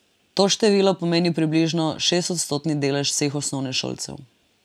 To število pomeni približno šestodstotni delež vseh osnovnošolcev.